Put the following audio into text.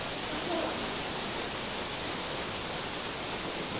Þá hló amma.